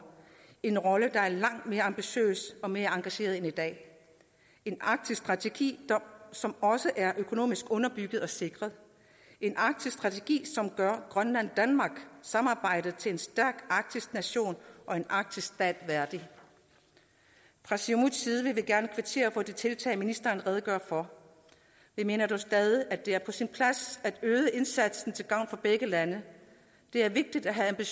en rolle der er langt mere ambitiøs og mere engageret end i dag en arktisk strategi som også er økonomisk underbygget og sikret en arktisk strategi som gør grønland danmark samarbejdet til en stærk arktisk nation og en arktisk stat værdig fra siumuts gerne kvittere for de tiltag ministeren redegør for vi mener dog stadig at det er på sin plads at øge indsatsen til gavn for begge lande det er vigtigt at have